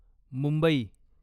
Mumbai